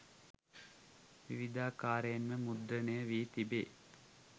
විවිධාකාරයෙන් මුද්‍රණය වී තිබේ.